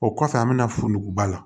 O kɔfɛ an bɛna forugu ba la